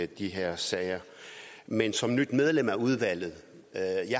de her sager men som nyt medlem af udvalget